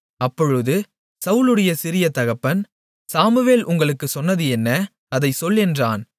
அப்பொழுது சவுலுடைய சிறிய தகப்பன் சாமுவேல் உங்களுக்குச் சொன்னது என்ன அதைச் சொல் என்றான்